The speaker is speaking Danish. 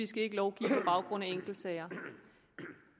skal lovgive på baggrund af enkeltsager